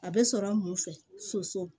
A bɛ sɔrɔ mun fɛ soso